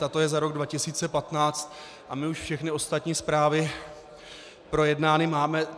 Tato je za rok 2015 a my už všechny ostatní zprávy projednány máme.